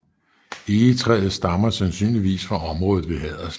Egetræet stammer sandsynligvis fra området ved Haderslev